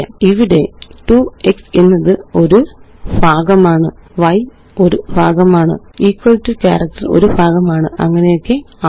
ഇവിടെ2x എന്നത് ഒരു ഭാഗമാണ് y ഒരു ഭാഗമാണ് ഇക്വൽ ടോ ക്യാരക്റ്റര് ഒരു ഭാഗമാണ് അങ്ങനെയൊക്കെയാണ്